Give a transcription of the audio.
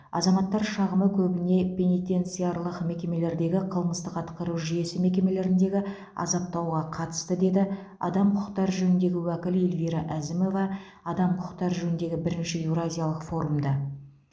азаматтар шағымы көбіне пенитенциарлық мекемелердегі қылмыстық атқару жүйесі мекемелеріндегі азаптауға қатысты деді адам құқықтары жөніндегі уәкіл эльвира әзімова адам құқықтары жөніндегі бірінші еуразиялық форумда